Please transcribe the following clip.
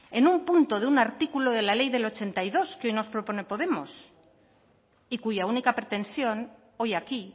en un punto de un artículo de la ley del ochenta y dos que hoy nos propone podemos y cuya única pretensión hoy aquí